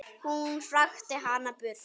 Hún hrakti hana burt.